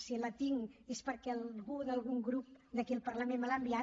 si la tinc és perquè algú d’algun grup d’aquí al parlament me l’ha enviat